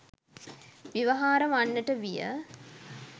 ව්‍යවහාර වන්නට විය.